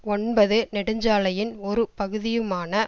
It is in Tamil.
ஒன்பது நெடுஞ்சாலையின் ஒரு பகுதியுமான